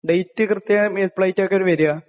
ഡേറ്റ്..കൃത്യമായിട്ട് എപ്പളായിട്ടായിരിക്കും വരിക?